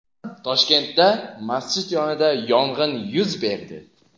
Toshkentda masjid yonida yong‘in yuz berdi.